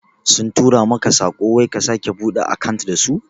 Sun tura maka tsako wai ka sake buɗe akant dasu?